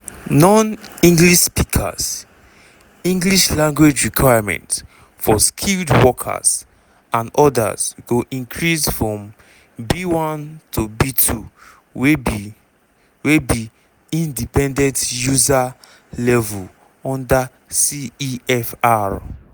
non-english speakers english language requirements for skilled workers and odas go increase from b1 to b2 wey be wey be independent user level under cefr.